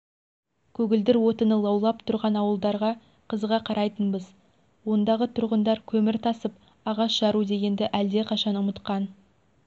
көгілдір отыны лаулап тұрған ауылдарға қызыға қарайтынбыз ондағы тұрғындар көмір тасып ағаш жару дегенді әлдеқашан ұмытқан